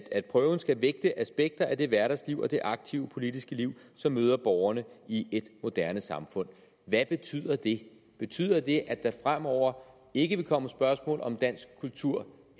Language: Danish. at prøven skal vægte aspekter af det hverdagsliv og det aktive politiske liv som møder borgerne i et moderne samfund hvad betyder det betyder det at der fremover ikke vil komme spørgsmål om dansk kultur